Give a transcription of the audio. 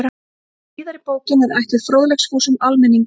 Síðari bókin er ætluð fróðleiksfúsum almenningi.